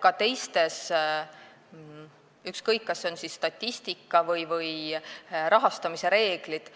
Ka teiste reeglite korral, ükskõik, kas need on statistika või rahastamise reeglid,